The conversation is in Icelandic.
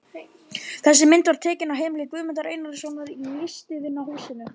Þessi mynd var tekin á heimili Guðmundar Einarssonar í Listvinahúsinu.